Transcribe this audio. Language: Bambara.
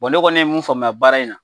Wa ne kɔni ye min faamuya baara in na